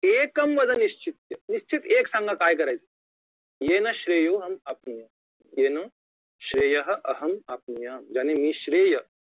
तदेकं वद निश्चित्य निश्चित एक सांगा काय करायचं येन श्रेयो हमप्रुयाम येन श्रेयेह हमप्रुयाम यांनी निश्रिय